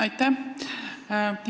Aitäh!